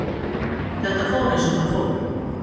Þetta fór eins og það fór.